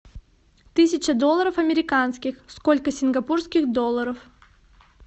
тысяча долларов американских сколько сингапурских долларов